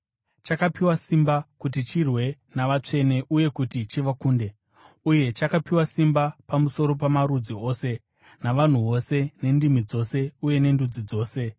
Chakapiwa simba kuti chirwe navatsvene uye kuti chivakunde. Uye chakapiwa simba pamusoro pamarudzi ose, navanhu vose, nendimi dzose uye nendudzi dzose.